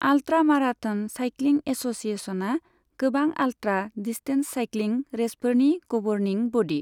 Ultra marathon cycling एस'सिएशना गोबां ultra distance cycling रेसफोरनि गबर्निं ब'डि।